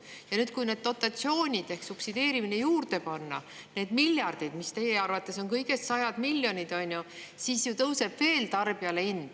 Ja nüüd, kui need dotatsioonid ehk subsideerimine juurde panna, need miljardid, mis teie arvates on kõigest sajad miljonid, siis ju tõuseb hind tarbijale veel.